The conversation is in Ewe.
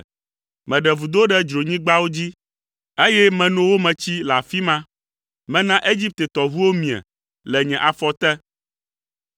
Meɖe vudo ɖe dzronyigbawo dzi, eye meno wo me tsi le afi ma. Mena Egipte tɔʋuwo mie le nye afɔ te.’